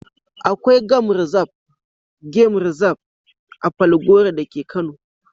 Akwai gam rizab (game reserve) a Falgore da ke Kano.